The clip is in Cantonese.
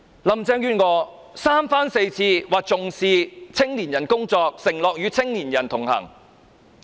林鄭月娥三番四次說重視青年人工作，承諾與青年人同行。